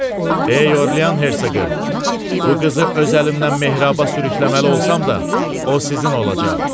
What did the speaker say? Ey Orlean hersoqu, bu qızı öz əlimdən mehraba sürükləməli olsam da, o sizin olacaq.